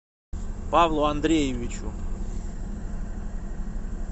павлу андреевичу